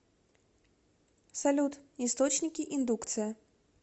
салют источники индукция